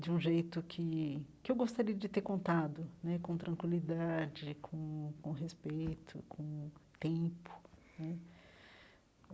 de um jeito que que eu gostaria de ter contado né, com tranquilidade, com com respeito, com tempo né.